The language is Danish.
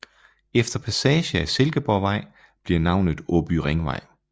Efter passage af Silkeborgvej bliver navnet Åby Ringvej